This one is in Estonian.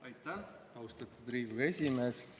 Aitäh, austatud Riigikogu esimees!